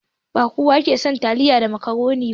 Ba kowa ke son taliya da macaroni ba.